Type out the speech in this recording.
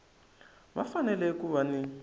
va fanele ku va ni